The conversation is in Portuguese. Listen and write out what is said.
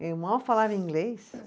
Eu mal falava inglês.